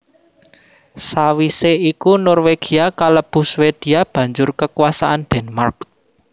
Sawisé iku Norwegia kalebu Swedia banjur kekuasaan Denmark